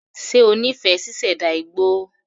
Ṣe ó nífẹ̀ẹ́ ṣíṣẹ̀dá igbó?